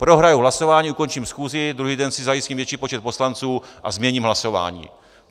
Prohraji hlasování, ukončím schůzi, druhý den si zajistím větší počet poslanců a změním hlasování.